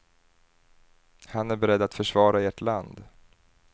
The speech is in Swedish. Han är beredd att försvara ert land.